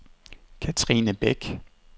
Katrine Bech